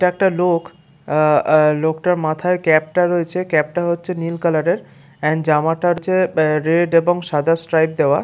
এইটা একটা লোক আ আ লোকটার মাথায় যে ক্যাপ টা রয়েছে ক্যাপ টা হচ্ছে নীল কালারের এন্ড জামাটা হচ্ছে রেড সাদা স্ট্রাইপ দেওয়া।